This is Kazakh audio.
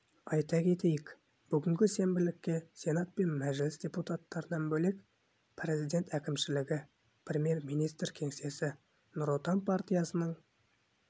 айта кетейік бүгінгі сенбілікке сенат мен мәжіліс депутаттарынан бөлек президент әкімшілігі премьер-министр кеңсесі нұр отан партиясының